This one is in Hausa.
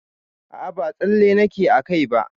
A'a ba tsalle nake a kai ba.